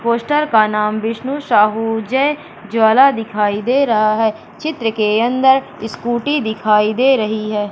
Poster का नाम विष्णु साहू जय ज्वाला दिखाई दे रहा है चित्र के अंदर स्कूटी दिखाई दे रही है।